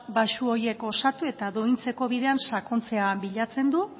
baxu horiek osatu eta duintzeko bidean sakontzea bilatzen du